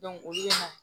olu bɛ na